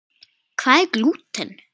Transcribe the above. Hvað er glúten?